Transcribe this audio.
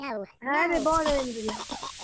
হ্যাঁ রে বল ঐন্দ্রিল্লা